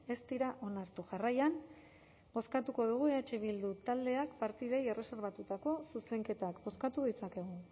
ez dira onartu jarraian bozkatuko dugu eh bildu taldeak partidei erreserbatutako zuzenketak bozkatu ditzakegu